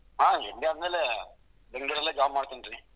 ಹಾ MBA ಆದ್ಮೇಲೆ ಬೆಂಗಳೂರಲ್ಲೆ job ಮಾಡ್ತೀನಿ ರೀ.